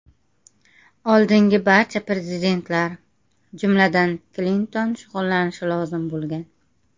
Oldingi barcha prezidentlar, jumladan, Klinton shug‘ullanishi lozim bo‘lgan.